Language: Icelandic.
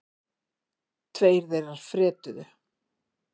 Tveir þeirra fretuðu.